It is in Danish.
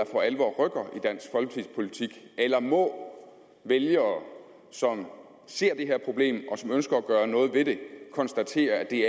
for alvor rykker eller må vælgere som ser det her problem og som ønsker at gøre noget ved det konstatere at det